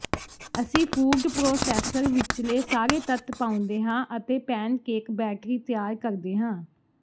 ਅਸੀਂ food processor ਵਿਚਲੇ ਸਾਰੇ ਤੱਤ ਪਾਉਂਦੇ ਹਾਂ ਅਤੇ ਪੈੱਨਕੇਕ ਬੈਟਰੀ ਤਿਆਰ ਕਰਦੇ ਹਾਂ